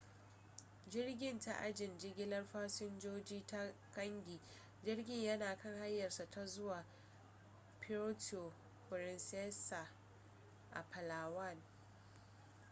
jirgin ta ajin jigilar fasinjoji ta kangi jirgin yana kan hanyarsa ta zuwa puerto princesa a palawan